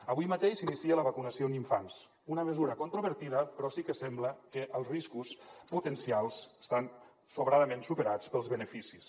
avui mateix s’inicia la vacunació en infants una mesura controvertida però sí que sembla que els riscos potencials estan sobradament superats pels beneficis